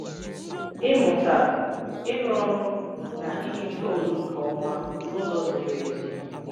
Ịmụta, ịrụ ọrụ na iji toonụ nke ọma n'ụzọ ziri ezi.